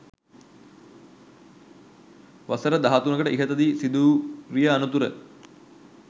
වසර දහතුනකට ඉහතදී සිදුවූ රිය අනතුර